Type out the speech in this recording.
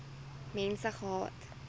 mense gehad